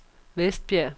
Vestbjerg